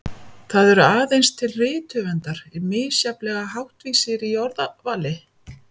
Það eru aðeins til rithöfundar misjafnlega háttvísir í orðavali.